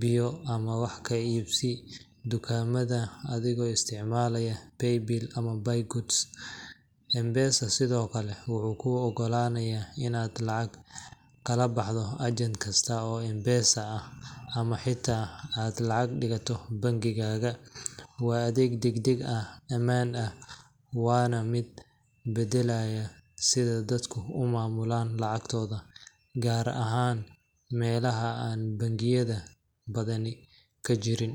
biyo, ama wax ka iibsi dukaamada adigoo isticmaalaya Paybill ama Buy Goods. M-Pesa sidoo kale wuxuu kuu oggolaanayaa inaad lacag kala baxdo agent kasta oo M-Pesa ah, ama xitaa aad lacag dhigato bangigaaga. Waa adeeg degdeg ah, ammaan ah, waana mid beddelay sida dadka u maamulaan lacagtooda, gaar ahaan meelaha aan bangiyada badani ka jirin.